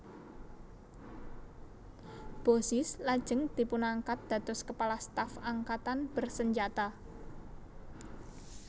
Bozizé lajeng dipunangkat dados Kepala Staf Angkatan Bersenjata